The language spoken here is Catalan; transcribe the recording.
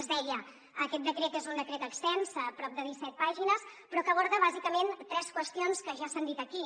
es deia aquest decret és un decret extens a prop de disset pàgines però que aborda bàsicament tres qüestions que ja s’han dit aquí